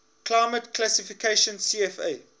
climate classification cfa